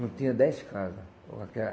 Não tinha dez casa.